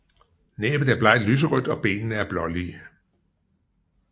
Næbbet er blegt lyserødt og benene er blålige